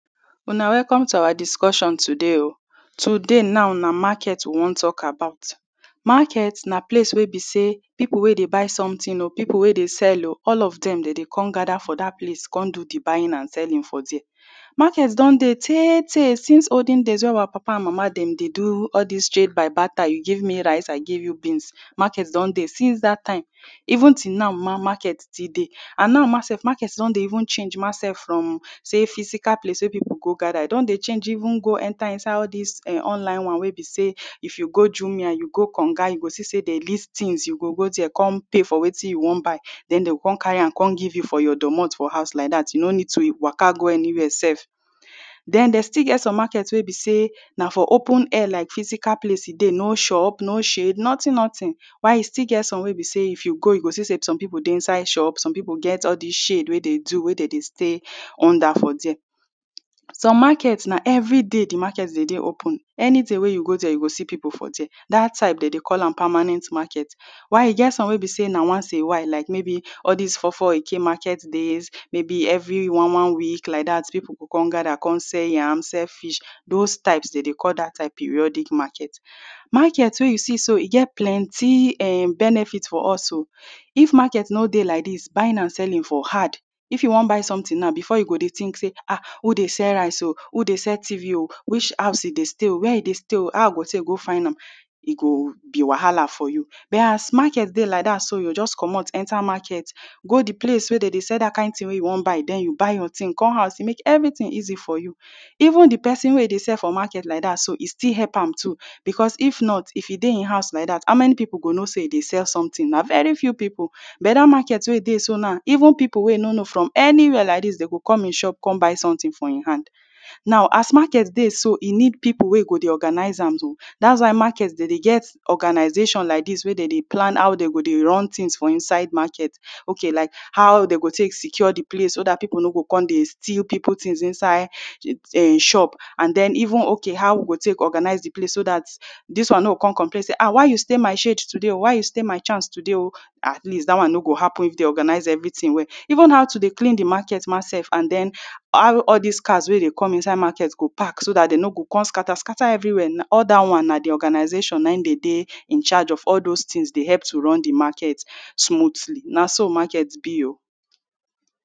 Una welcome to our discussion today oo today now na market we wan talk about market na place wey be say people wey dey buy something or people wey dey sell oo all of them dey dey com gada for dat place com do de buying an selling for dia market don dey tey tey since olden days wey our papa an mama dem dey do all dis trade by barter you give me rice I give you beans market don dey since dat time even till now Market still dey an now sef market don dey even change ma sef from say physical place wey people go gada e don dey change even go enter inside all dis[um]online one wey be say if you go jumia you go konga you go see say dey list tins you go go dia com pay for wetin you wan buy den dem go com carry am com give you for your domot for house like dat you no need to waka go anywia sef den dem still get some market wey be say na for open air like physical place e dey no shop no shade notin notin why e still get some wey be say if you go you go see say some people dey inside shop some people get all dis shade wey dey do wey dey stay under for dia some market na every day de market go dey open anyday wey you go dia you go see people for dia dat type dem dey call am permanent market while e get some wey be say na once in a while maybe all dis four four eke market days maybe every one one week like dat people go com gada com sell yam com sell fish those types dem dey call dat type periodic market. Market wey you see so e get plenty eh benefit for us oo if market no dey like dis buying an selling for hard if you wan buy something now before you go dey tink say ah who dey sell rice oo who dey sell TV oo which house you dey say wia e dey stay oo how I go take go find am e go be wahala for you but as market dey like dat so you go just comot enter market go de place wey dem dey sell dat kind tin wey you wan buy den you buy your tin com house e mek everytin easy for you even de person wey e dey sell for market like that so e still help am too becos if not if e dey him house like dat how many people go know say e dey sell sometin na very few people but dat market wey e dey so now even people wey e no know am from anywia like dis dey go com him shop come buy someting for hin hand hand now as market dey so e need people wey e go dey organise am oo dats wat market dem dey get organizations like dis wey dem dey plan how dem go dey run tins for inside market okay like how dey go tek secure de place so far people no go com dey steal people tins inside him shop an dem even okay how we go tek organise de place so dat dis one no go com complain say ah why you stay my shade today ah why you stay my chance today oo atleast dat one no go happen if dem organise everyting well even how to dey clean de market ma sef an den how all dis cars wey dey com inside market go park so dat dem no go com scata scata everywia now all dat one na de organisation na him dey in Charge of all those tins dey help to run de market smoothly na so market be oo